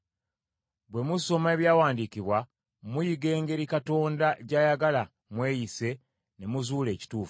Bwe musoma ebyawandiikibwa muyiga engeri Katonda gy’ayagala mweyise ne muzuula ekituufu.